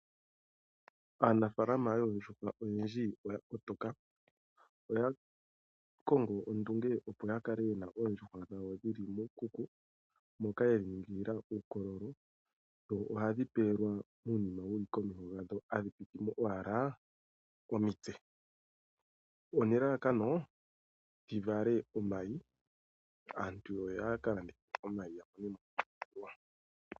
Aanafaalama oyendji yoondjuhwa oya kotoka, oya kongo ondunge, opo ya kale yena oondjuhwa dhawo moshikuku moka yedhi ningila uukololo. Ohadhi pewelwa uunima wuli momeho hadhi hadhi pititha mo owala omitse one lalakano dhi vale omayi aantu yo ya ka landithe iimaliwa ya mone mo iimaliwa.